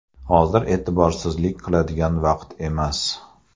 Hozir e’tiborsizlik qiladigan vaqt emas.